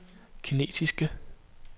kinesiske